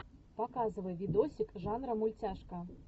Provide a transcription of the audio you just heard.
показывай видосик жанра мультяшка